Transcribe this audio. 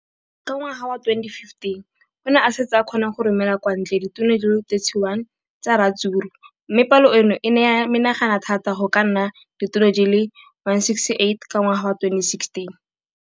Ka ngwaga wa 2015, o ne a setse a kgona go romela kwa ntle ditone di le 31 tsa ratsuru mme palo eno e ne ya menagana thata go ka nna ditone di le 168 ka ngwaga wa 2016.